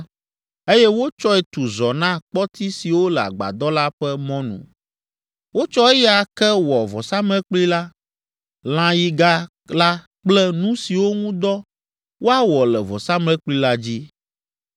eye wotsɔe tu zɔ na kpɔti siwo le agbadɔ la ƒe mɔnu. Wotsɔ eya ke wɔ vɔsamlekpui la, lãyiga la kple nu siwo ŋu dɔ woawɔ le vɔsamlekpui la dzi,